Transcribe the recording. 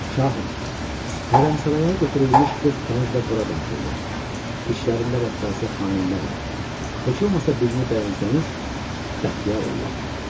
Şahım, hərəmsaraya götürülmüş 40 kəniz də bura daxildir, içlərində rəqqasə, xanəndə var, heç olmasa birini bəyənsəniz, Bəxtiyar ollam.